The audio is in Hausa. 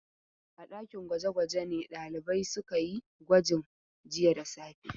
A ɗakin gwaje-gwaje ne ɗalibai suka yi gwajin jiya da safe.